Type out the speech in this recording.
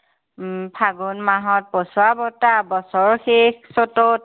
উম ফাগুন মাহত পচুৱা বতাহ, বছৰৰ শেষ চ'তত।